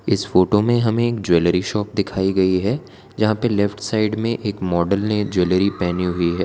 इस फोटो में हमें एक ज्वेलरी शॉप दिखाई गई है जहां पे लेफ्ट साइड में एक मॉडल ने ज्वेलरी पहनी हुई है।